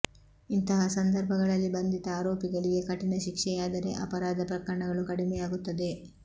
ಇಂಥಹ ಸಂದರ್ಭಗಳಲ್ಲಿ ಬಂಧಿತ ಆರೋಪಿಗಳಿಗೆ ಕಠಿಣ ಶಿಕ್ಷೆಯಾದರೆ ಅಪರಾಧ ಪ್ರಕರಣಗಳು ಕಡಿಮೆಯಾಗುತ್ತದೆ